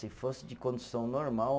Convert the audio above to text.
Se fosse de condução normal